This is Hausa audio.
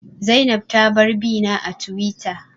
Zainab ta bar bina a Tiwita